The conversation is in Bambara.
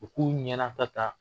U k'u ɲɛnata ta,